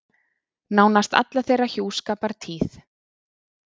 Nánast alla þeirra hjúskapartíð.